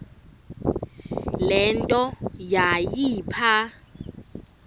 le nto yayipha